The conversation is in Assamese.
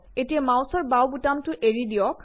এতিয়া মাউচৰ বাওঁ বুতামটো এৰি দিয়ক